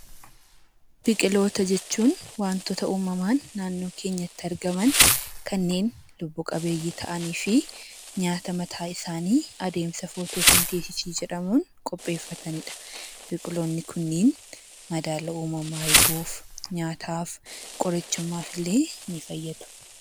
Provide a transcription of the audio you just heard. Biqiloota jechuun wantoota uumamaan naannoo keenyatti argaman kanneen lubbu-qabeeyyii ta'anii fi nyaata mataa isaanii adeemsa 'footoosentesisii' jedhamuun qopheeffatani dha. Biqiloonni kunniin madaala uumamaa eeguuf, nyaataaf, qorichummaaf illee ni fayyadu.